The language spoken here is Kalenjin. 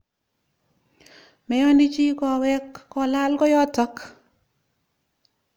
Meyoni chi kowek kolal koyotok.